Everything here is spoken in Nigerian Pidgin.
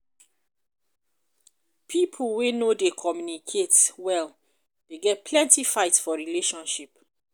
pipo wey no dey communicate well dey get plenty fight for relationship.